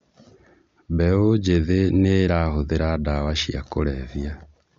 Mbeũ njĩthĩ nĩĩrahũthĩra dawa cia kulevya